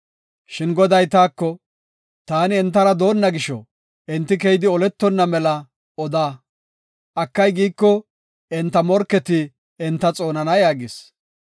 Shin Goday taako, “Taani entara doonna gisho, enti keyidi oletona mela oda. Akay, giiko, enta morketi enta xoonana” yaagis.